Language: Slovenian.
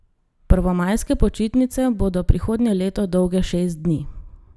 Prvomajske počitnice bodo prihodnje leto dolge šest dni.